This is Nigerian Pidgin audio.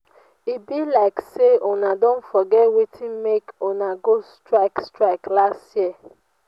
e be like sey una don forget wetin make una go strike strike last year.